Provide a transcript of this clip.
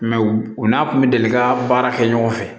u n'a kun bɛ deli ka baara kɛ ɲɔgɔn fɛ